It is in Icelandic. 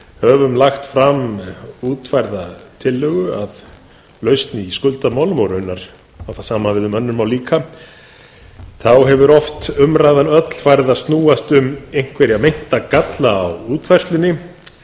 höfum lagt fram útfærða tillögu að lausn í skuldamálum og raunar á það sama við um önnur mál líka hefur umræðan oft öll farið að snúast um einhverja meinta galla á útfærslunni